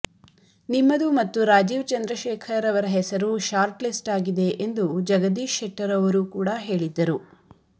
ನಿಮ್ಮದು ಮತ್ತು ರಾಜೀವ್ ಚಂದ್ರಶೇಖರ್ ಅವರ ಹೆಸರು ಶಾರ್ಟ್ ಲಿಸ್ಟ್ ಆಗಿದೆ ಎಂದು ಜಗದೀಶ್ ಶೆಟ್ಟರ್ ಅವರೂ ಕೂಡಾ ಹೇಳಿದ್ದರು